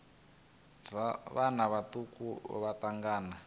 dza vhana vhaṱuku vha thangana